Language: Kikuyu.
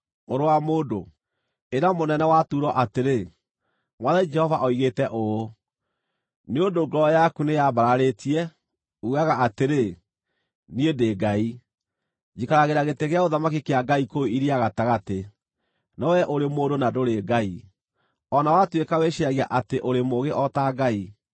“Mũrũ wa mũndũ, ĩra mũnene wa Turo atĩrĩ, ‘Mwathani Jehova oigĩte ũũ: “ ‘Nĩ ũndũ ngoro yaku nĩĩyambararĩtie, uugaga atĩrĩ, “Niĩ ndĩ ngai; njikaragĩra gĩtĩ gĩa ũthamaki kĩa ngai kũu iria gatagatĩ.” No wee ũrĩ mũndũ na ndũrĩ ngai, o na watuĩka wĩciiragia atĩ ũrĩ mũũgĩ o ta ngai.